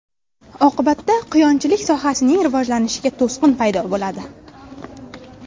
Oqibatda quyonchilik sohasining rivojlanishiga to‘siq paydo bo‘ladi.